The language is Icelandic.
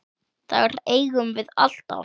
Þær eigum við alltaf.